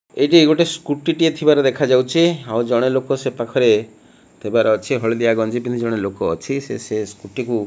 ଏହିଟି ଗୋଟେ ସ୍କୁଟି ଟିଏ ଥିବାର ଦେଖା ଯାଉଛି ଆଉ ଜଣେ ଲୋକ ସେପାଖରେ ଥିବାର ଅଛି ହଳଦିଆ ଗଞ୍ଜି ପିନ୍ଧି ଜଣେ ଲୋକ ଅଛି ସେ ସେ ସ୍କୁଟି କୁ।